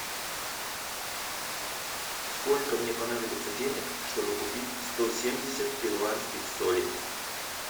сколько мне понадобится денег чтобы купить сто семьдесят перуанских солей